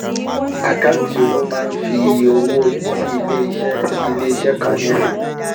Àkáǹtì owó máá ń fi iye owó tí iléeṣẹ́ tí iléeṣẹ́ kan ní han.